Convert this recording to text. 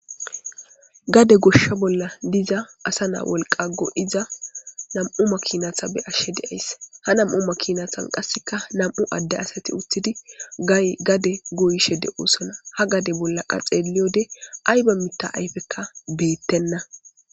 Gade gosha bolla diza asa na wolqqa go7iza nam7u makinata be7ashe de7ays. Nam7u makiinata be7ashe de7ays ha nam7u makinatan qasseka nam7u adde asati uttidi gade goyshe de7oosona. Ha gade bolla xeeliyode ayba mitha ayfekka beetenna.